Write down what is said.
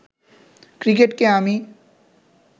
ক্রিকেটকে আমি